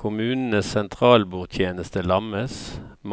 Kommunenes sentralbordtjeneste lammes,